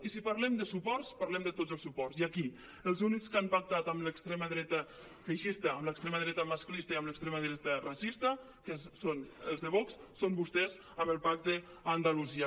i si parlem de suports parlem de tots els suports i aquí els únics que han pactat amb l’extrema dreta feixista amb l’extre·ma dreta masclista i amb l’extrema dreta racista que són els de vox són vostès en el pacte a andalusia